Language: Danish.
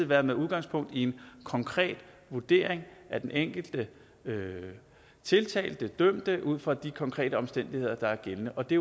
være med udgangspunkt i en konkret vurdering af den enkelte tiltalte den dømte ud fra de konkrete omstændigheder der er gældende og det